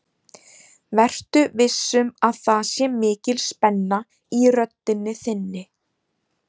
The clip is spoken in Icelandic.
Vertu viss um að það sé mikil spenna í röddinni þinni.